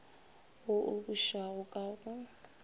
wo o bušago ka go